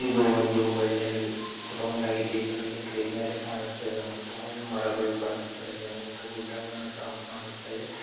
ಇದು ಒಂದು ಒಳ್ಳೆ ಗ್ರೌಂಡ್ ಆಗಿದೆ. ಇದರಲ್ಲಿ ಗ್ರೀನರಿ ಕಾಣಿಸ್ತಾ ಇದೆ ಒಂದು ಮರಗಳು ಕಾಣಿಸ್ತಾ ಇವೆ ಒಂದು ಗುಡ್ಡಾನು ಕಾಣಿಸ್ತಾ ಇದೆ.